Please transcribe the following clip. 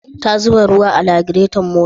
Ta zuba ruwa a lagirton motar?